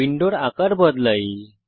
উইন্ডোর আকার পরিবর্তন করি